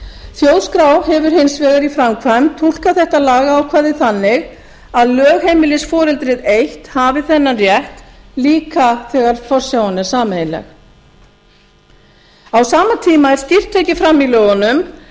þjóðskrá hefur hins vegar í framkvæmd túlkað þetta lagaákvæði þannig að lögheimilisforeldrið eitt hafi þennan rétt líka þegar forsjáin er sameiginleg á sama tíma er skýrt tekið fram í lögunum